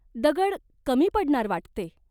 दगड कमी पडणार वाटते ?